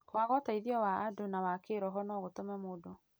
Kwaga ũteithio wa andũ na wa kĩĩroho no gũtũme mũndũ